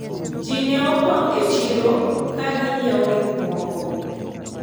ji ne opong' e chiro ka gi nyiewo gikmoko